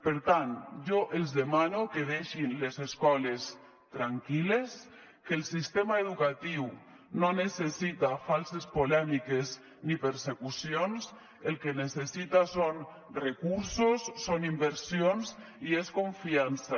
per tant jo els demano que deixin les escoles tranquil·les que el sistema educatiu no necessita falses polèmiques ni persecucions el que necessita són recursos són inversions i és confiança